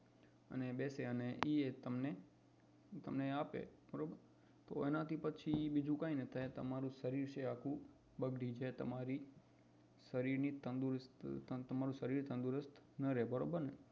બેસે અને એ એ તમને આપે એના થી પછી બીજું કઈ ના થાય તમારું શરીર છે એ બગડી જાય તમારી શરીર ની તંદુરસ્તી તમારું શરીર તંદુરસ્ત ના રે બરોબર ને